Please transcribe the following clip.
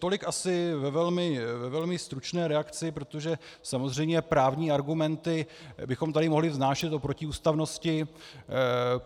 Tolik asi ve velmi stručné reakci, protože samozřejmě právní argumenty bychom tady mohli vznášet o protiústavnosti.